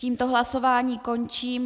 Tímto hlasování končím.